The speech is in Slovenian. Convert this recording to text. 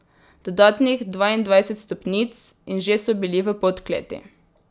Dodatnih dvaindvajset stopnic in že so bili v podkleti.